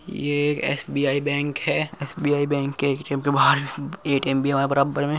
ये एक एस.बी.आई. बैंक है एस.बी.आई. बैंक के ए.टी.एम. के बाहर भी ए.टी.एम. भी है हमारे बराबर में।